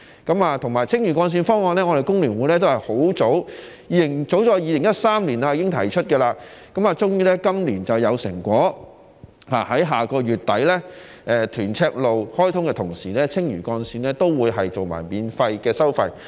此外，還有青嶼幹線方案，我們工聯會早在2013年已經提出，終於今年有成果，在下個月底，屯赤路開通的同時，青嶼幹線亦會免收費。